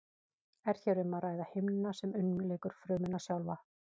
er hér um að ræða himnuna sem umlykur frumuna sjálfa